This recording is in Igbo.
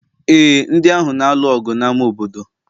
ee, ndị ahụ na-alụ ọgụ n'ámá obodo